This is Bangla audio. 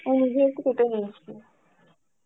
তো নিজে একটু কেটে নিয়েছি.